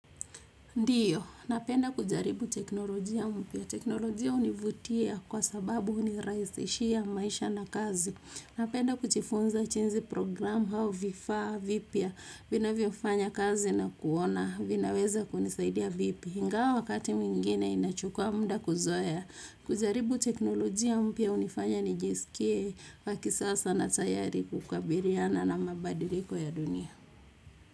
Ndiyo, napenda kujaribu teknolojia mpya. Teknolojia hunivutia kwa sababu hunirahisishia maisha na kazi napenda kujifunza jinzi programu, au vifaa, vipya, vina vyofanya kazi na kuona, vinaweza kunisaidia vipi. Ingawa wakati mwingine inachukua mda kuzoea. Kujaribu teknolojia mpya unifanya nijisikie wa kisasa na tayari kukabiliana na mabadiliko ya dunia.